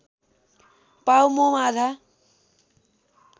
पाव मोम आधा